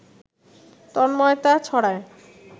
তন্ময়তা ছড়ায়